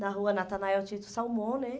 Na rua Natanael Tito Salmão, né?